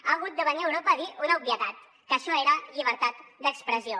ha hagut de venir europa a dir una obvietat que això era llibertat d’expressió